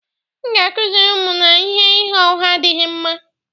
M ga-akụziri ụmụ m na ịgha ụgha adịghị mma